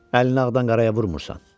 Əlini ağdan qaraya vurmursan.